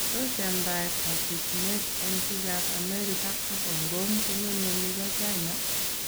Tos yamdaet ab rikyinet en biikab Amerika ak Hongkong kong'eme nibo China?